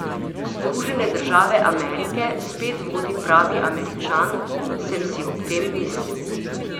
Združene države Amerike spet vodi pravi Američan, sem si ob tem mislil.